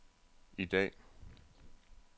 i dag